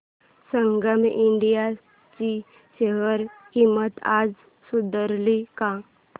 संगम India ची share किंमत आता सुधारली का